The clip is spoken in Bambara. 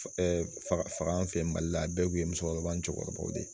fa faga fɛ mali la a bɛɛ tun ye musokɔrɔba jɔyɔrɔbaw de ye